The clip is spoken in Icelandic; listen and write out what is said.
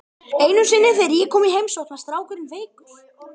Einu sinni þegar ég kom í heimsókn var strákurinn veikur.